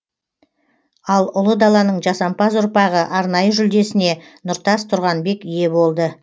ал ұлы даланың жасампаз ұрпағы арнайы жүлдесіне нұртас тұрғанбек ие болды